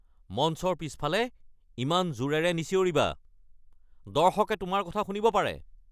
মঞ্চৰ পিছফালে ইমান জোৰেৰে নিচিঞৰিবা। দৰ্শকে তোমাৰ কথা শুনিব পাৰে।